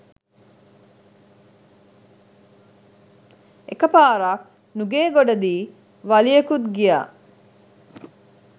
එකපාරක් නුගේගොඩදි වලියකුත් ගියා